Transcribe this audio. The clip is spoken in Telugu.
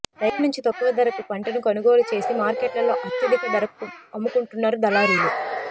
రైతుల నుంచి తక్కువ ధరకు పంటను కొనుగో లు చేసి మార్కెట్లలో అత్యధిక ధరకు అమ్ముకుంటున్నారు దళారీలు